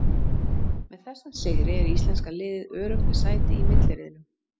Með þessum sigri er íslenska liðið öruggt með sæti í milliriðlum.